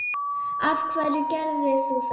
af hverju gerðir þú það?